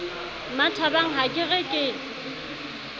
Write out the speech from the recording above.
mmathabang ha ke re ke